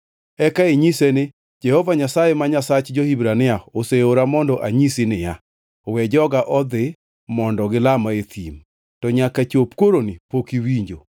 Eka inyise ni, ‘Jehova Nyasaye, ma Nyasach jo-Hibrania, oseora mondo anyisi niya: We joga odhi, mondo gilama e thim. To nyaka chop koroni pok iwinjo.